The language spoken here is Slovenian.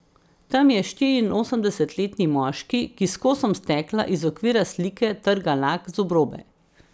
Tam je štiriinosemdesetletni moški, ki s kosom stekla iz okvira slike trga lak z obrobe.